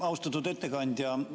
Austatud ettekandja!